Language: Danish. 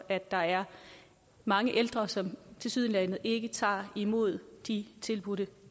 er der er mange ældre som tilsyneladende ikke tager imod de tilbudte